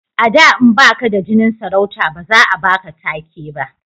a da in baka da jinin sarauta ba za a baka take ba